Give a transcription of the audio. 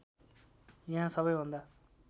यहाँ सबैभन्दा